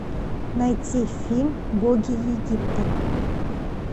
найти фильм боги египта